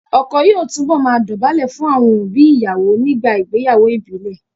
Ọkọ yóò túbọ̀ máa dọ̀bálẹ̀ fún àwọn òbí ìyàwó nígbà ìgbéyàwó ìbílẹ̀